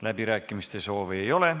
Läbirääkimiste soovi ei ole.